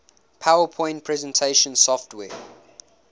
powerpoint presentation software